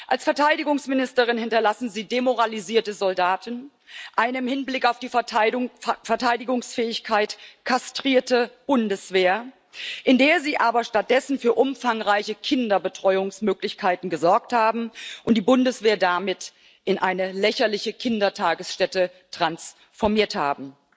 Als Verteidigungsministerin hinterlassen Sie demoralisierte Soldaten, eine im Hinblick auf die Verteidigungsfähigkeit kastrierte Bundeswehr, in der Sie aber stattdessen für umfangreiche Kinderbetreuungsmöglichkeiten gesorgt und die Bundeswehr damit in eine lächerliche Kindertagesstätte transformiert haben.